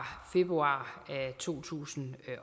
februar to tusind